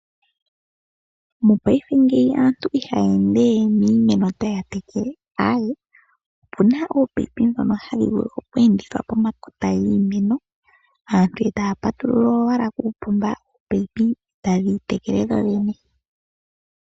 Mopayife ngeyi aantu ihaya ende miimeno taya tekele aawe opuna ominino ndhono hadhi vulu okweendithwa pomakota giimeno aantu etaya patulula owala kuupomba oominino etadhi tekele dho dhene.